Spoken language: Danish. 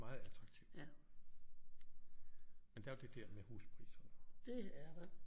Meget attraktivt men der jo det der med huspriserne